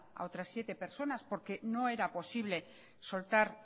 a otras siete personas porque no era posible soltar